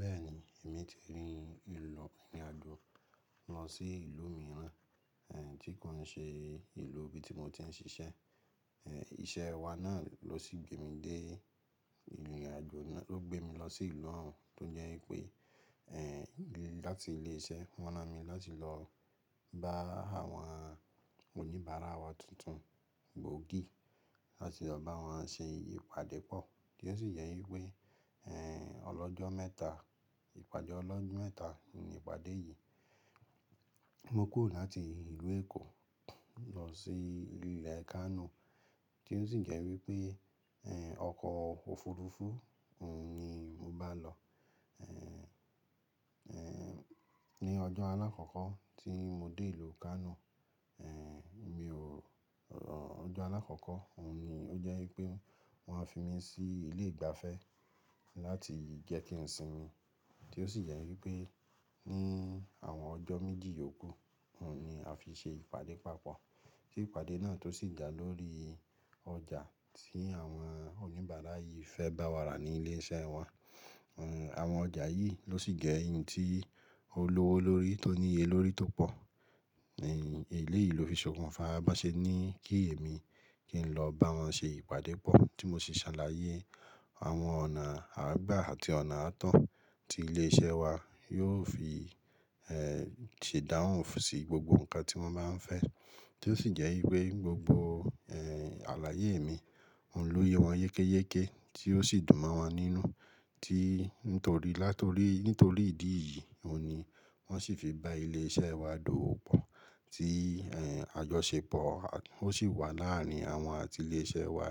Bẹ́ẹ̀ni, èmi ti rí ìlò ìrìn àjò lọ sí ìlú mìíràn tí kò nṣe ìlú ibi tí mo ti ń ṣiṣẹ́. Ìṣe wa náà lósi gbé mi dé, ìrìn àjò náà ló gbé mi lọ sí ìlú ọ̀ún tó jẹ́ pé láti ilé iṣẹ́ wọ́n ran mi láti lọ bá àwọn oníbàárà wa tuntun gbòógì láti lọ bá wọn ṣe ìpadé pọ̀ tí ó sì jẹ́ wípé ọlọ́jọ́ mẹ́ta, ìpàdé ọlọ́jọ́ mẹ́ta ni ìpàdé yìí. Mo kúrò láti ìlú Èkó lọ sí ìlú Kano tí ó sì jẹ́ wípé ọkọ̀ òfuurufú ni mo bá lọ. Ni ọjọ́ àlákọ́kọ́ tí mo dé ìlú Kano, mi ò, ọjọ́ àlàkọ́kọ́ òun ni ó jẹ́ wípé wọ́n á fi mi sí ilé ìgbafẹ́ láti jẹ́ kí n sinmi tí ó sì jẹ́ wípé ní àwọn ọjọ́ méjì òkú òun ni a fi ṣe ìpàdé papọ̀. Tí ìpàdé náà tó sì dà lórí ọjà tí àwọn oníbàárà yìí fẹ́ bá wa rà ní ilé iṣẹ́ wọn. Àwọn ọjà yìí ló sì jẹ́ n tí olówó lórí tó níye lórí tó pọ̀ ní eleyìí ló fi sọkún fa bá ṣe ní kí èmi kí n lọ bá wọn ṣe ìpàdé pọ̀ tí mo sì ṣàlàyé àwọn ọ̀nà àagbá àti ọ̀nà àatọ̀ tí ilé iṣẹ́ wa yóò fi ṣèdá òun fún sì gbogbo nǹkan tí wọ́n bá ń fẹ́ tí ó sì jẹ́ wípé gbogbo àlàyé mi òun ló yé wọn yékéyéké tí ó sì dùn mọ́ wọn nínú tí nítorí, nítorí ìdí yìí òun ni wọ́n sì fi bá ilé iṣẹ́ wa dowo pọ̀ tí àjọṣepọ̀ ó sì wà láàrin àwọn àti ilé iṣẹ́ wa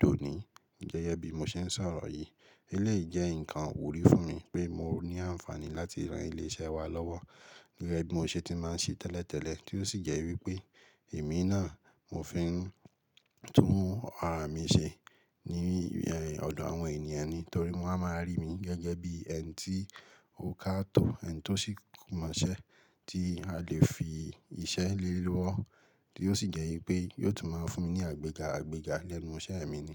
dònì. Gẹ́gẹ́ bí mo ṣe ń sọ̀rọ̀ yìí, eleyìí jẹ́ nǹkan wurí fún mi pé mo ní àǹfààní láti rán ilé iṣẹ́ wa lọ́wọ́ gẹ́gẹ́ bí mo ṣe ti máa ń ṣe tẹ́lẹ̀tẹ́lẹ̀ tí ó sì jẹ́ wípé èmi náà mo fi ń tún ara mi ṣe ní ọ̀dọ̀ àwọn ènìyàn nítorí wọn a máa rí mi gẹ́gẹ́ bí ẹni tí ó ká to ẹni tó sì mọ̀ọ́ṣẹ̀ tí a lè fi iṣẹ́ lé e lówó tí ó sì jẹ́ wípé yóò tún máa fún mi ní àgbéga àgbéga lẹ́nu iṣẹ́ mi ni.